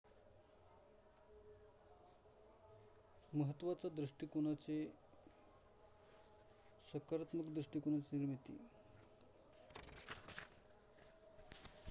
महत्त्वाचा दृष्टिकोनाचे सकारात्मक दृष्टिकोनाची निर्मिती